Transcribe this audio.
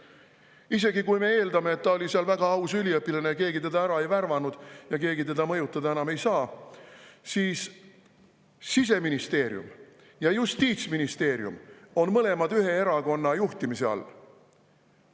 Isegi kui me eeldame, et ta oli seal väga aus üliõpilane, keegi teda ära ei värvanud ja keegi teda enam mõjutada ei saa, siis Siseministeerium ning Justiits- ja ministeerium on mõlemad ühe erakonna juhtimise all.